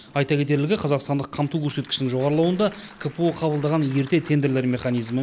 айта кетерлігі қазақстандық қамту көрсеткішінің жоғарылауында кпо қабылдаған ерте тендерлер механизмі